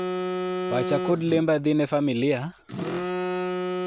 pacha kod lemba dhi ne familia,